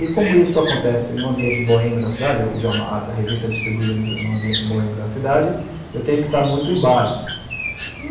E, como isso acontece num ambiente boêmio da cidade, a revista é distribuída num ambiente boêmio da cidade, eu tenho que estar muito em bares.